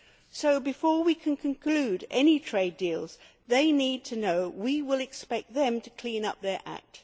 So, before we can conclude any trade deals, they need to know that we will expect them to clean up their act.